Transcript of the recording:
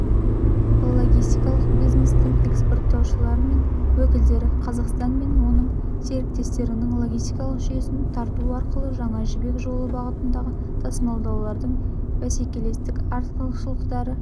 логистикалық бизнестің экспорттаушылары мен уәкілдері қазақстан мен оның серіктестіктерінің логистикалық жүйесін тарту арқылы жаңа жібек жолы бағытында тасымалдаудың бәсекелестік артықшылықтары